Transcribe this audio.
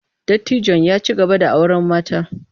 Dattijon ya ci gaba da auren mata.